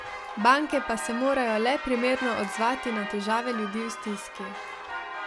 Banke pa se morajo le primerno odzvati na težave ljudi v stiski.